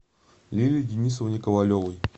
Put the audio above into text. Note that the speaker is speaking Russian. лилии денисовне ковалевой